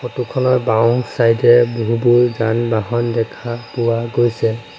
Photo খনৰ বাওঁ side এ বহুতো যান বাহন দেখা পোৱা গৈছে।